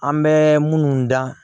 An bɛ minnu dan